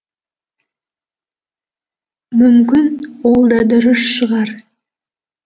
мүмкін ол да дұрыс шығар